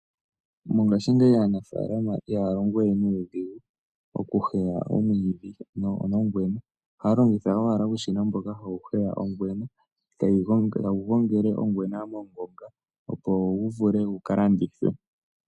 Mongashingeyi aanafalama ihaya longo we nuudhigu, oku heya omwidhi no ngwena, ohaya longitha uushina mboka hawu heya oongwena, tawu gongele ongwena mongonga, opo gu vule guka landithwe.